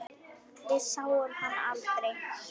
Við sáum hann aldrei.